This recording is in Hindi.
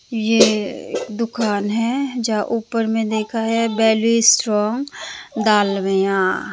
ये दुकान हैं जहाँ ऊपर में देखा हैं वैली स्ट्रांग डालमिया --